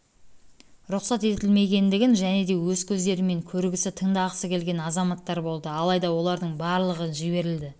рұқсат етілмегендігін және де өз көздерімен көргісі тыңдағысы келген азааттар болды алайда олардың барлығы жіберілді